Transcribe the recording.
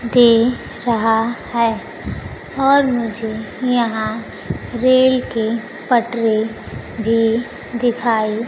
दे रहा है और मुझे यहां रेल की पटरी भी दिखाई--